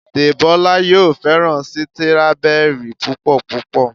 Debola yóò féràn Sítírábẹrì púpò púpọ̀.